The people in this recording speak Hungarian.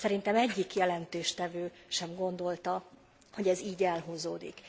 Szerintem egyik jelentéstevő sem gondolta, hogy ez így elhúzódik.